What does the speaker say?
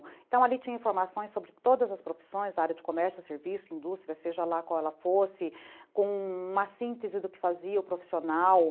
Então ali tinha informações sobre todas as profissões da área de comércio, serviço, indústria, seja lá qual ela fosse, com uma síntese do que fazia o profissional.